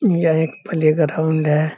यह एक प्लेग्राउन्ड है।